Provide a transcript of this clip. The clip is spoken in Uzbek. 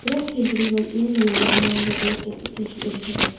Biroq keyinchalik londonliklar muvozanatni tiklashga erishadi.